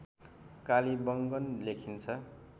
कालीबंगन लेखिन्छ